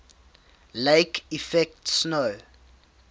lake effect snow